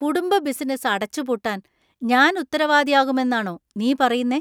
കുടുംബബിസിനസ്സ് അടച്ചുപൂട്ടാൻ ഞാൻ ഉത്തരവാദിയാകുമെന്നാണോ നീ പറയുന്നേ?